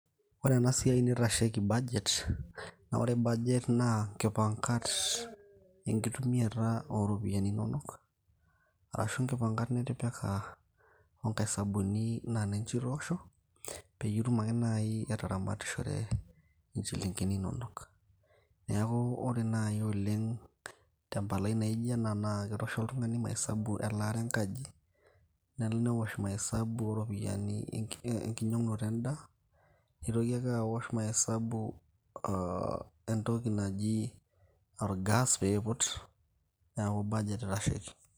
ore ena siai nitasheki budget naa ore budget naa inkipangat enkitumiata ooropiani inonok arashu inkipangat nitipika oonkaisabuni naa ninche itoosho peyie itum ake naaji ataramatishore inchilingini inonok niaku ore naaji oleng tempalai naijop ena naa ketoosho oltung'ani maesabu elaata enkaji newosh maesabu ooropiyiani enkinyiang'unoto endaa nitoki ake awosh maesabu aa oo entoki naji orgas piiput neeku budget itasheki.